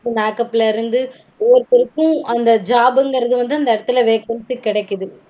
Makeup ஒவ்வொருத்தருக்கும் அந்த job -ங்கறது வந்து அந்த எடத்துல vacancy கெடைக்குது